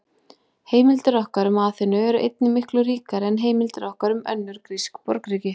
Heimildir okkar um Aþenu eru einnig miklu ríkari en heimildir okkar um önnur grísk borgríki.